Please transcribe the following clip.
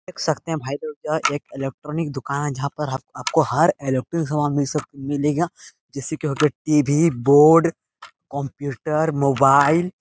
देख सकते हैं भाई लोग यह एक एलेक्ट्रॉनिक दुकान है जहाँ पर हाप आपको हर एलॉक्ट्रिक सामान मिल सक मिलेगा जैसे की हो गया टिभी बोर्ड कोंप्यूटर मोबाइल --